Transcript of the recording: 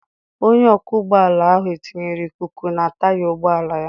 Onye ọkwọ ụgbọala ahụ etinyere ikuku na taya ụgbọala ya.